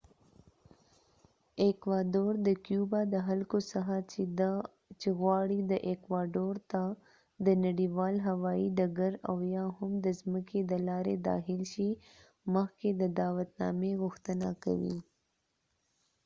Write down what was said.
ایکوادور د کیوبا د خلکو څخه چی غواړی ایکواډور ته د نړیوال هوایی ډګر اویا هم د ځمکی د لاری داخل شی مخکی د دعوت نامی غوښتنه کوی